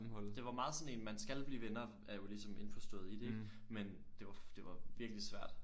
Det var meget sådan en man skal blive venner er jo ligesom indforstået i det ik men det var det var virkelig svært